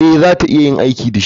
Ee, za ta iya aiki da shi.